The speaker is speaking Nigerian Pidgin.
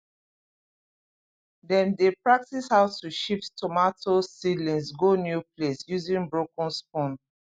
dem dey practise how to shift tomato seedlings go new place using broken spoon